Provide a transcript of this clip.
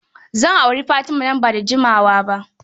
Zan auri Fatima nan ba da jimawa ba.